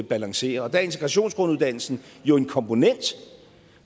balancerer og der er integrationsgrunduddannelsen jo en komponent